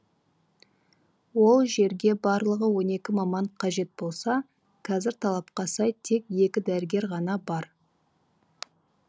ол жерге барлығы он екі маман қажет болса қазір талапқа сай тек екі дәрігер ғана бар